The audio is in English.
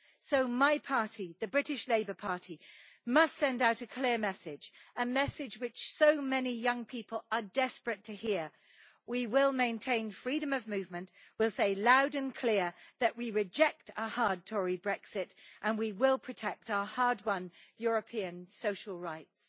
So, my party, the British Labour Party, must send out a clear message a message which so many young people are desperate to hear we will maintain freedom of movement, we will say loud and clear that we reject a hard Tory Brexit, and we will protect our hard-won European social rights.